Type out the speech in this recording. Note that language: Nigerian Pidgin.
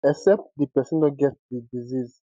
except di pesin no get di disease